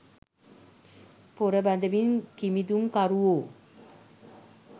පොර බදිමින් කිමිදුම් කරුවෝ